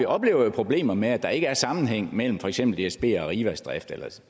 oplever problemer med at der ikke er sammenhæng mellem for eksempel dsbs og arrivas drift eller